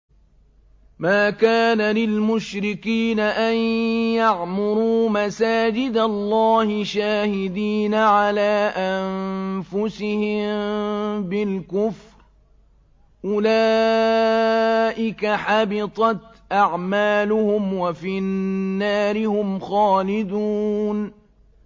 مَا كَانَ لِلْمُشْرِكِينَ أَن يَعْمُرُوا مَسَاجِدَ اللَّهِ شَاهِدِينَ عَلَىٰ أَنفُسِهِم بِالْكُفْرِ ۚ أُولَٰئِكَ حَبِطَتْ أَعْمَالُهُمْ وَفِي النَّارِ هُمْ خَالِدُونَ